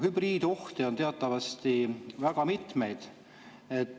Hübriidohte on teatavasti väga mitmeid.